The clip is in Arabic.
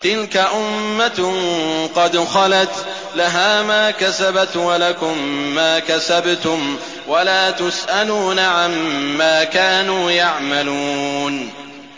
تِلْكَ أُمَّةٌ قَدْ خَلَتْ ۖ لَهَا مَا كَسَبَتْ وَلَكُم مَّا كَسَبْتُمْ ۖ وَلَا تُسْأَلُونَ عَمَّا كَانُوا يَعْمَلُونَ